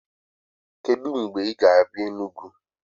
Kedụ mgbe ị ga-abịa Enugwu?